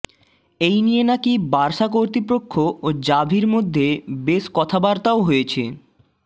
এই নিয়ে নাকি বার্সা কর্তৃপক্ষ ও জাভির মধ্যে বেশ কথাবার্তাও হয়েছে